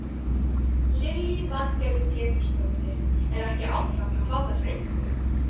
Lillý Valgerður Pétursdóttir: Er ekki áfall að fá þessa einkunn?